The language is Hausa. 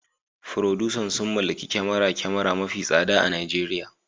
Furodusan sun mallaki kyamarar kyamara mafi tsada a Najeriya